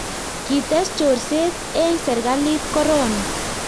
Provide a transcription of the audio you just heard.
kites chorset eng' serikalit korona